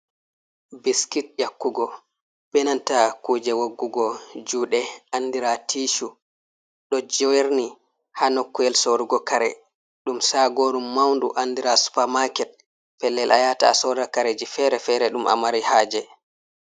Biskit eakkugo, benanta kuje waggugo juɗe andira tishu, ɗo jerni ha nokkuwel sorugo kare ɗum sagoru maundu andira supermarket, pellel a yata a sodata kareji fere-fere ɗum a mari haje.